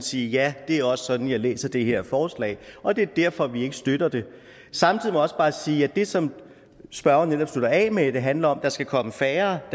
sige ja det er også sådan at jeg læser det her forslag og det er derfor at vi ikke støtter det samtidig må jeg også bare sige at det som spørgeren netop slutter af med at det handler om nemlig at der skal komme færre